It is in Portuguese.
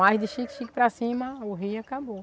Mas de chique-chique para cima, o rio acabou.